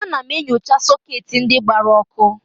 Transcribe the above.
Ana m enyocha sọketi ndị gbara ọkụ.